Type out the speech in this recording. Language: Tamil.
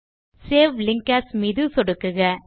சேவ் லிங்க் ஏஎஸ் மீது சொடுக்குக